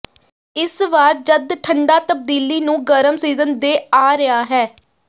ਇਸ ਵਾਰ ਜਦ ਠੰਡਾ ਤਬਦੀਲੀ ਨੂੰ ਗਰਮ ਸੀਜ਼ਨ ਦੇ ਆ ਰਿਹਾ ਹੈ